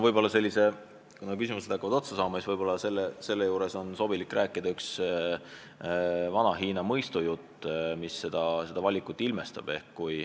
Aga kuna küsimused hakkavad praegu otsa saama, siis ehk on sobilik rääkida üks vana Hiina mõistujutt, mis seda valikut ilmestab.